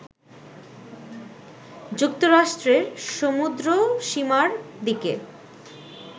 যুক্তরাষ্ট্রের সমুদ্রসীমার দিকে